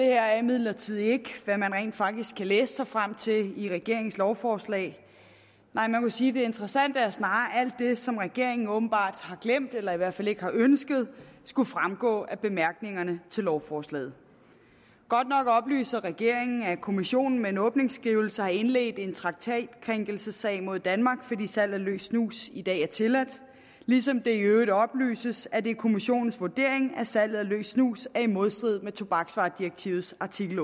det er imidlertid ikke hvad man rent faktisk kan læse sig frem til i regeringens lovforslag nej man må sige at det interessante snarere er alt det som regeringen åbenbart har glemt eller i hvert fald ikke har ønsket skulle fremgå af bemærkningerne til lovforslaget godt nok oplyser regeringen at europa kommissionen med en åbningsskrivelse har indledt en traktatkrænkelsessag mod danmark fordi salg af løs snus i dag er tilladt ligesom det i øvrigt oplyses at det er kommissionens vurdering at salget af løs snus er i modstrid med tobaksvaredirektivets artikel